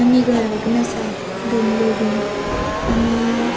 आणि घरा बिन असा बंगलो बिन आणि --